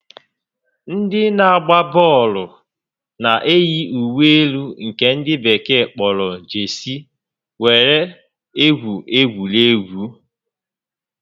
Ndị na-agba bọọlụ na eyi uwe elu nke ndị bekee kpọrọ 'Jesii' were egwu egwuregwu